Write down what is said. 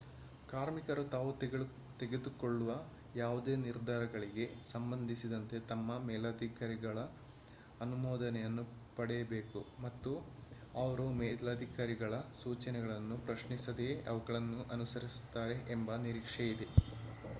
ಕಾರ್ಮಿಕರು ತಾವು ತೆಗೆದುಕೊಳ್ಳುವ ಯಾವುದೇ ನಿರ್ಧಾರಗಳಿಗೆ ಸಂಬಂಧಿಸಿದಂತೆ ತಮ್ಮ ಮೇಲಧಿಕಾರಿಗಳ ಅನುಮೋದನೆಯನ್ನು ಪಡೆಯಬೇಕು ಮತ್ತು ಅವರು ಮೇಲಧಿಕಾರಿಗಳ ಸೂಚನೆಗಳನ್ನು ಪ್ರಶ್ನಿಸದೆಯೇ ಅವುಗಳನ್ನು ಅನುಸರಿಸುತ್ತಾರೆ ಎಂಬ ನಿರೀಕ್ಷೆಯಿದೆ